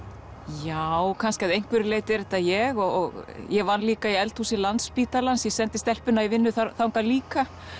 já kannski að einhverju leyti er þetta ég og ég vann líka í eldhúsi Landspítalans ég sendi stelpuna í vinnu þangað líka